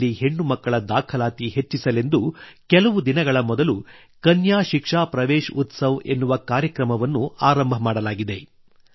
ಶಾಲೆಯಲ್ಲಿ ಹೆಣ್ಣುಮಕ್ಕಳ ದಾಖಲಾತಿ ಹೆಚ್ಚಿಸಲೆಂದು ಕೆಲವು ದಿನಗಳ ಮೊದಲು ಕನ್ಯಾ ಶಿಕ್ಷಾ ಪ್ರವೇಶ ಉತ್ಸವ ಎನ್ನುವ ಕಾರ್ಯಕ್ರಮವನ್ನು ಆರಂಭ ಮಾಡಲಾಗಿದೆ